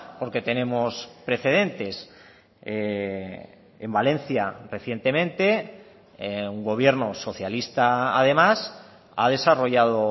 porque tenemos precedentes en valencia recientemente un gobierno socialista además ha desarrollado